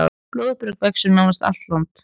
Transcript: Blóðberg vex um nánast allt land.